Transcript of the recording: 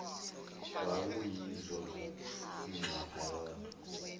wawuyizwa inxapha yodwa